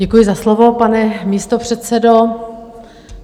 Děkuji za slovo, pane místopředsedo.